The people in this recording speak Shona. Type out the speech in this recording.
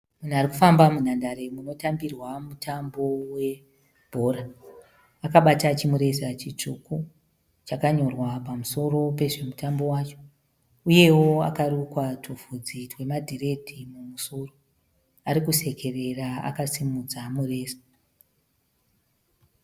Munhu ari kufamba munhandare munotambirwa mutambo webhora. Akabata chimureza chitsvuku chakanyorwa pamusoro pezvemutambo wacho uyewo akarukwa tuvhudzi twemadhiredhi mumusoro. Ari kusekerera akasimudza mureza.